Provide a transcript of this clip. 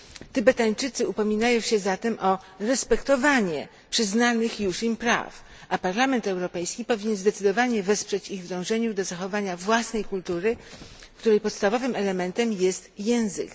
Tybetańczycy upominają się zatem o respektowanie przyznanych już im praw, a Parlament Europejski powinien zdecydowanie wesprzeć ich w dążeniu do zachowania własnej kultury, której podstawowym elementem jest język.